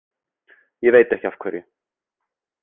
Ég veit ekki af hverju.